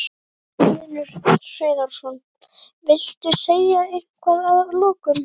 Magnús Hlynur Hreiðarsson: Viltu segja eitthvað að lokum?